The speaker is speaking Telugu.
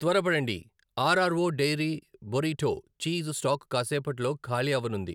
త్వరపడండి, RRO dairy burrito cheese stock కాసేపట్లో ఖాళీ అవ్వనుంది.